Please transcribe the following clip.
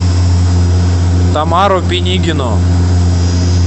тамару пинигину